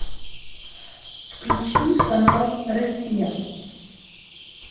включи канал россия